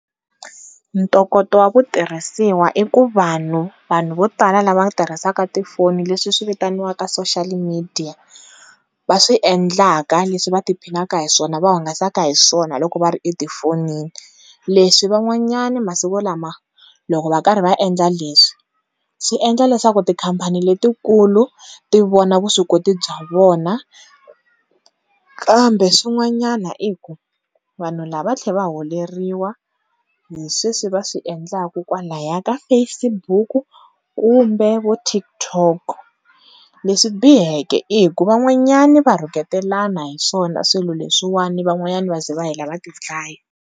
Ntokoto wa ku tirhisiwa i ku vanhu vanhu vo tala lava tirhisaka tifoni leswi vitaniwaka social media va swi endlaka leswi va ti phinaka hi swona vahungasaka hi swona loko va ri etifonini, leswi van'wanyana masiku lama loko va karhi va endla leswi swi endla leswaku tikhampani letikulu ti vona vuswikoti bya vona, kambe swin'wanyana i ku vanhu lava va tlhela va holeriwa hi sweswi va swi endlaka kwalaya ka Facebook kumbe vo TikTok leswi biheke i ku van'wanyana va rhuketelana hi swona swilo leswin'wana van'wana va za va hela va ti dlaya.